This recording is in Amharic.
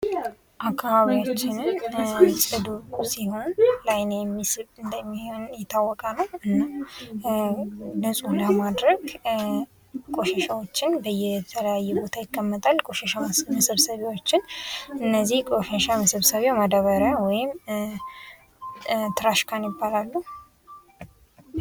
አካባቢያችንን ጽዱ ሲሆን ለአይን የሚስብ እንደሙሂን ይታወቃል። ንጹህ ለማድረግ ቆሻሻዎችን በየተለያየ ቦታ ይቀመጣል። ቆሻሻ መሰብሰቢያዎችን እነዚህ ቆሻሻ መሰብሰቢያ ማዳበሪያ ትራሽ ካን ይባላሉ።